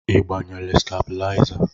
Ị gbanyere stabilizer?